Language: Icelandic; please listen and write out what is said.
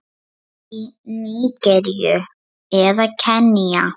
Eða í Nígeríu og Kenía?